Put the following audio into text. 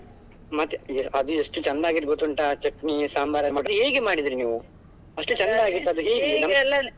ಮತ್ತೆ ಅದು ಎಷ್ಟು ಚೆನ್ನಾಗಿ ಆಗಿತ್ತು ಗೊತ್ತುಂಟಾ ಆ ಚಟ್ನಿ ಸಾಂಬಾರ್ ಹೇಗೆ ಮಾಡಿದ್ರಿ ನೀವು. ಅಷ್ಟು ಚೆಂದ ಆಗಿತ್ತು ಅದು ?